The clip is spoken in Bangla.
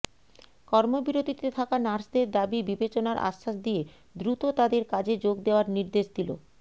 কর্মবিরতিতে থাকা নার্সদের দাবি বিবেচনার আশ্বাস দিয়ে দ্রুত তাঁদের কাজে যোগ দেওয়ার নির্দেশ দিল